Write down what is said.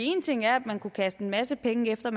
én ting er at man kunne kaste en masse penge efter